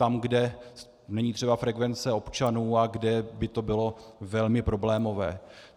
Tam, kde není třeba frekvence občanů a kde by to bylo velmi problémové.